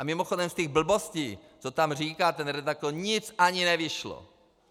A mimochodem, z těch blbostí, co tam říká ten redaktor, nic ani nevyšlo.